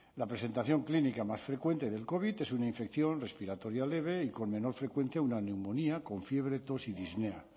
la presentación clínica más frecuente del covid es una infección respiratoria leve y con menor frecuencia una neumonía con fiebre tox y disnea